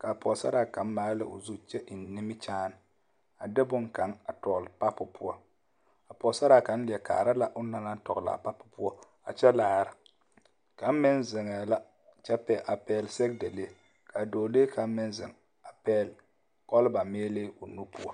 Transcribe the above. k'a pɔgesaraa kaŋ maale la o zu kyɛ eŋ nimikyaane a de boŋkaŋ a tɔgele papo poɔ, a Pɔgesaraa kaŋ leɛ kaara la onaŋ naŋ leɛ tɔgele a papo poɔ a kyɛ laara kaŋ meŋ zeŋɛɛ la kyɛ pɛ a pɛgele sɛgedalee a dɔɔlee kaŋ meŋ zeŋ a pɛgele kɔlba meelee o nu poɔ.